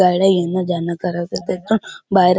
गाड्या येण जान करत आहे तेथ बाहेर--